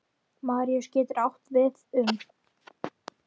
Maríus getur átt við um